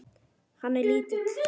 Hann er lítill.